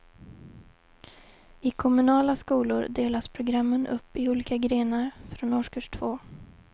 I kommunala skolor delas programmen upp i olika grenar från årskurs två.